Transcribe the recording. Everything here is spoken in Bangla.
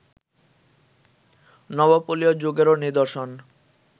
নবপলীয় যুগেরও নিদর্শন